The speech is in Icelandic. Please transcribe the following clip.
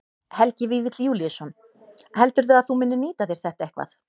Helgi Vífill Júlíusson: Heldurðu að þú munir nýta þér þetta eitthvað?